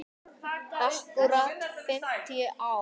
Akkúrat fimmtíu ár.